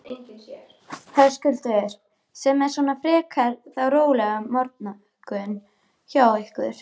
Höskuldur: Sem er svona frekar þá rólegur morgunn hjá ykkur?